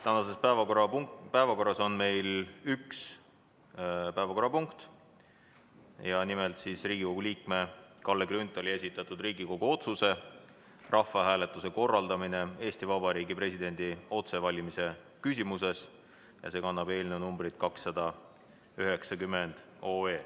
Tänases päevakorras on meil üks punkt: Riigikogu liikme Kalle Grünthali esitatud Riigikogu otsuse "Rahvahääletuse korraldamine Eesti Vabariigi presidendi otsevalimise küsimuses" eelnõu, mis kannab numbrit 290.